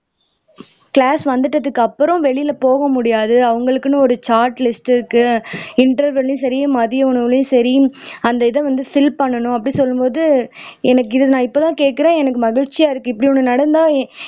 class வந்ததுக்கு அப்புறம் வெளில போக முடியாது அவங்களுக்குன்னு ஒரு சாட் லிஸ்ட் இருக்கு இண்டர்வெல்லயும் சரி மதிய உணவுலயும் சரி அந்த இதை வந்து ஃபில் பண்ணனும் அப்படி சொல்லும்போது எனக்கு இத இப்பதான் கேக்குறேன் எனக்கு மகிழ்ச்சியா இருக்கு இப்படி ஒண்ணு நடந்தா